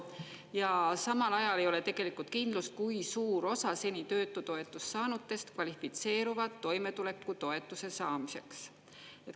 Ja samal ajal ei ole tegelikult kindlust, kui suur osa seni töötutoetust saanutest kvalifitseerub toimetulekutoetuse saamiseks.